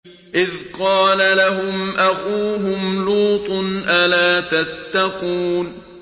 إِذْ قَالَ لَهُمْ أَخُوهُمْ لُوطٌ أَلَا تَتَّقُونَ